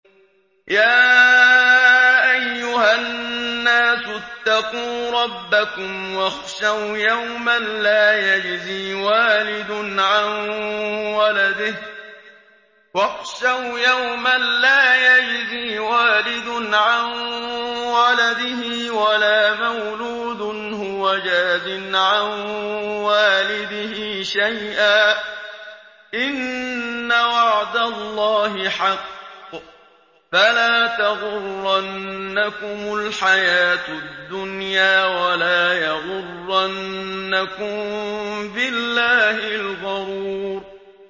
يَا أَيُّهَا النَّاسُ اتَّقُوا رَبَّكُمْ وَاخْشَوْا يَوْمًا لَّا يَجْزِي وَالِدٌ عَن وَلَدِهِ وَلَا مَوْلُودٌ هُوَ جَازٍ عَن وَالِدِهِ شَيْئًا ۚ إِنَّ وَعْدَ اللَّهِ حَقٌّ ۖ فَلَا تَغُرَّنَّكُمُ الْحَيَاةُ الدُّنْيَا وَلَا يَغُرَّنَّكُم بِاللَّهِ الْغَرُورُ